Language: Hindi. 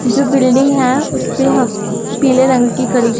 जो बिल्डिंग है उस पे हम पीले रंग की कली--